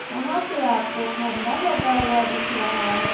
यहाँ पे आपको खंभा लगा हुआ दिख रहा है।